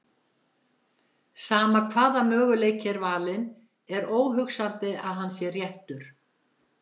Sama hvaða möguleiki er valinn er óhugsandi að hann sé réttur.